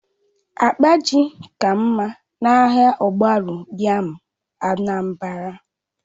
Akpa ji ka mma na ahịa ogbaru yam Anambra